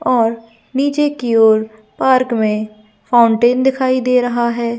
और नीचे की ओर पार्क में फाउंटेन दिखाई दे रहा हैं ।